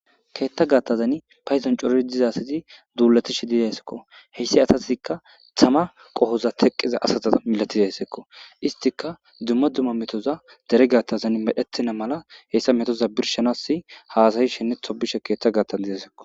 keetta gaattazan payzon coroi dizasazi duulatishi dizesekko heyssi asasikka thama qohoza teqqiza asaza milatiza hessekko istika dumma dumma metoza dere gattazan medhettina mala heyssa metoza birshanasi haasayi shenne tobishe keeththa gaattan dizeysekko